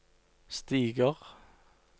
stiger